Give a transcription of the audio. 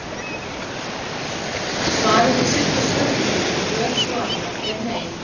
Svarið við seinni spurningunni um röð svaranna er nei.